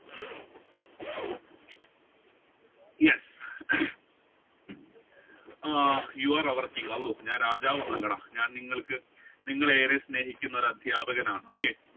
yeah you are a King ഞാൻ രാജാവ് ഒന്നും അല്ലടാ ഞാൻ നിങ്ങൾക്ക് നിങ്ങളെ ഏറെ സ്നേഹിക്കുന്ന അധ്യാപകനാണ് okay